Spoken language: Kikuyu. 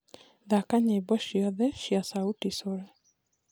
thaka nyĩmbo cĩothe cĩa sauti sol